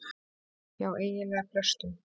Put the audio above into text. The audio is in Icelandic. Já eiginlega flestum.